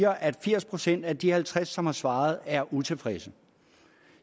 at firs procent af de halvtreds som har svaret er utilfredse